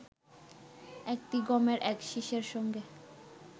একটি গমের এক শীষের সঙ্গে